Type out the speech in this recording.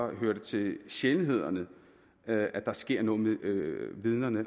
at det hører til sjældenhederne at at der sker noget med vidnerne